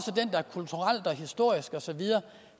den der kulturelt historisk og så videre